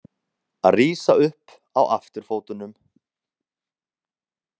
Að rísa upp á afturfótunum